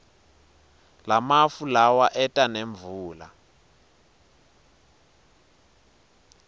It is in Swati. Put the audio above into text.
lamafu lawa eta nemvula